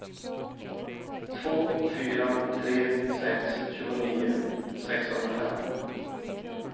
två fyra tre sex tjugonio sexhundrafem